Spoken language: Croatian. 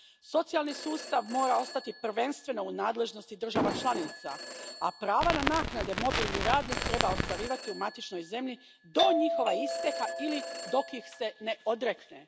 Socijalni sustav mora ostati prvenstveno u nadležnosti država članica, a prava na naknade mobilni radnik treba ostvarivati u matičnoj zemlji do njihova isteka ili dok ih se ne odrekne.